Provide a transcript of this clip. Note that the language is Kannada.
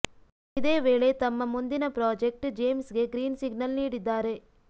ಇದೇ ವೇಳೆ ತಮ್ಮ ಮುಂದಿನ ಪ್ರಾಜೆಕ್ಟ್ ಜೇಮ್ಸ್ ಗೆ ಗ್ರೀನ್ ಸಿಗ್ನಲ್ ನೀಡಿದ್ದಾರೆ